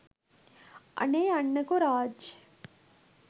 අනේ යන්නකෝ රාජ්